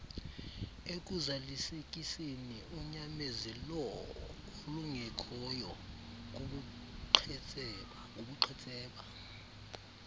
ekuzalisekiseni unyamezeloolungekhoyo kubuqhetseba